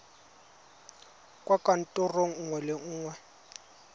kwa kantorong nngwe le nngwe